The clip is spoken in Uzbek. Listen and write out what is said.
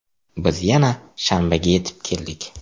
Biz yana shanbaga yetib keldik.